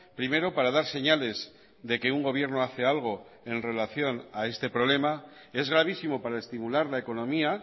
primero para dar señales de que un gobierno hace algo en relación a este problema es gravísimo para estimular la economía